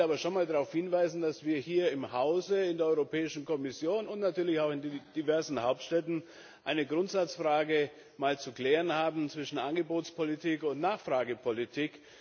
Ich will aber schon einmal darauf hinweisen, dass wir hier im Hause, in der Europäischen Kommission und natürlich auch in den diversen Hauptstädten eine Grundsatzfrage zu klären haben zwischen Angebotspolitik und Nachfragepolitik.